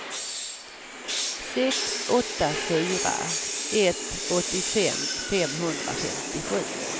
sex åtta fyra ett åttiofem femhundrafemtiosju